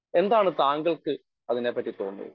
Speaker 1 എന്താണ് താങ്കൾക്ക് അതിനെപ്പറ്റി തോന്നുന്നത്?